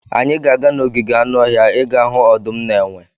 Anyị ga-aga n'ogige anụ ọhịa ịga hụ ọdụm na enwe.